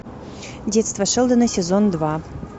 детство шелдона сезон два